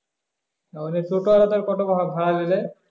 তাহলে total এটার কত ভাড়া দিলে?